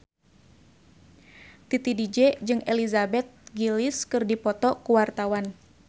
Titi DJ jeung Elizabeth Gillies keur dipoto ku wartawan